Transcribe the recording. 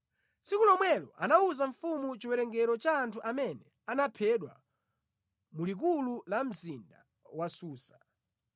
Tsiku lomwelo anawuza mfumu chiwerengero cha anthu amene anaphedwa mu likulu la mzinda wa Susa.